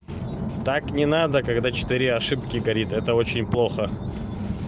так не надо когда четыре ошибки горит это очень плохо